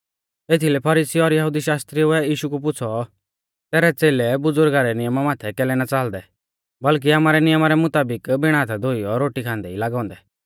एथीलै फरीसी और यहुदी शास्त्रिउऐ यीशु कु पुछ़ौ तैरै च़ेलै बज़ुरगा रै नियमा माथै कैलै ना च़ालदै बल्कि आमारै नियमा रै मुताबिक बिण हाथा धोइयौ रोटी खांदै ई लागौ औन्दै